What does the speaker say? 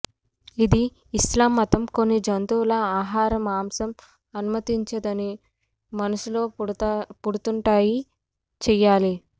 ఇది ఇస్లాం మతం కొన్ని జంతువుల ఆహార మాంసం అనుమతించదని మనస్సులో పుడుతుంటాయి చేయాలి